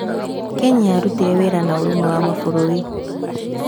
Kenya yarutire wĩra na ũrũmwe wa Mabũrũri.